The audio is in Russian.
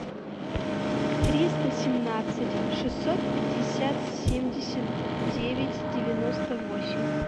триста семнадцать шестьсот пятьдесят семьдесят девять девяносто восемь